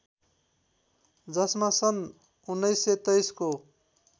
जसमा सन् १९२३ को